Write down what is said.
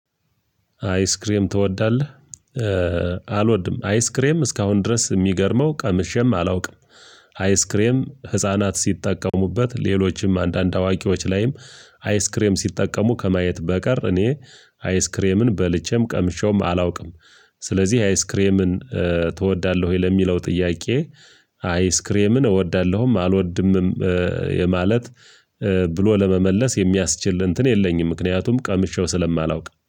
አይስክሬም ትወዳለህ ኧ አልወድም አይስክሬም እስካሁን ድረስ እሚገርመው ቀምሼም አላውቅም። አይስክሬም ህፃናት ሲጠቀሙበት ሌሎችም አንዳንድ አዋቂዎች ላይም አይስክሬም ሲጠቀሙ ከማየት በቀር እኔ አይስክሬምን በልቼም ቀምሼውም አላውቅም። ስለዚህ አይስክሬምን ኧ ትወዳለሁ ወይ ለሚለው ጥያቄ። አይስክሬምን እወዳለሁም አልወድምም ኧ የማለት ኧ ብሎ ለመመለስ የሚያስችል እንትን የለኝም ምክንያቱም ቀምሼው ስለማላውቅ